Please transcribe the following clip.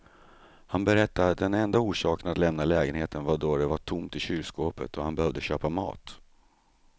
Han berättade att den enda orsaken att lämna lägenheten var då det var tomt i kylskåpet och han behövde köpa mat.